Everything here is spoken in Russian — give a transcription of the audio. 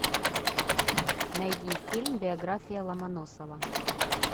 найди фильм биография ломоносова